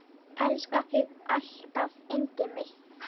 Elska þig alltaf yndið mitt.